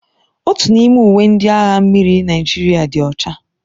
Otu n'ime uwe ndị agha mmiri Naịjirịa dị ọcha.